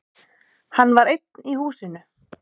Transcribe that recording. Hann var einn í húsinu.